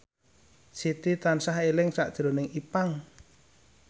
Siti tansah eling sakjroning Ipank